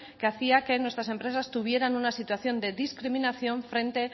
que hacía que nuestras empresas tuvieran una situación de discriminación frente